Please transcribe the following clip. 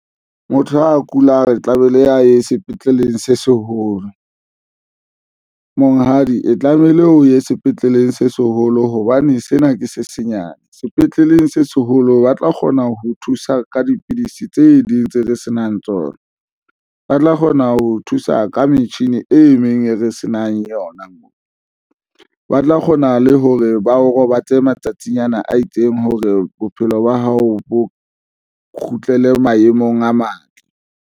Motho a kula re tla be le a ye sepetleleng se seholo. Monghadi e tlamehile o ye sepetleleng se seholo hobane sena ke se senyane sepetleleng se seholo. Ba tla kgona ho thusa ka dipidisi tse ding tse senang tsona, ba tla kgona ho thusa ka metjhini e meng, e re se nang yona, moo ba tla kgona le hore ba o robatse matsatsing ana a itseng hore bophelo ba hao bo kgutlele maemong a matle.